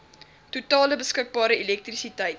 totale beskikbare elektrisiteit